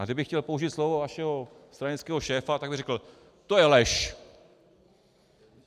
A kdybych chtěl použít slova vašeho stranického šéfa, tak bych řekl: To je lež.